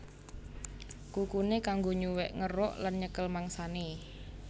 Kukuné kanggo nyuwèk ngeruk lan nyekel mangsané